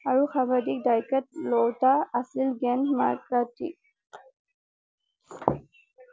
আৰু সৰ্বাধিক লওঁতা আছিল গেন মাৰ্কাতি